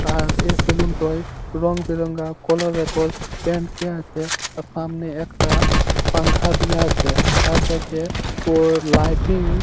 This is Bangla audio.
তাহার এই সেলুনটোই রং বেরেঙ্গা আছে। আর সামনে একটা পাঙ্খা দিয়া আছে। আর ব্যাক -এ ওর লাইটিং --